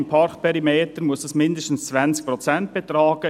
Im Parkperimeter muss dies mindestens 20 Prozent betragen.